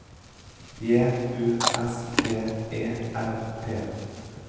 J U S T E R T